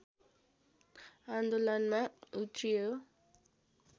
आन्दोलनमा उत्रियो